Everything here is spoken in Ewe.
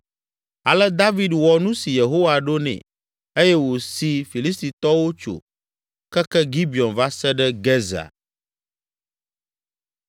Ale David wɔ nu si Yehowa ɖo nɛ eye wòsi Filistitɔwo tso keke Gibeon va se ɖe Gezer.